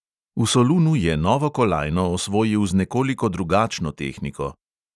V solunu je novo kolajno osvojil z nekoliko drugačno tehniko.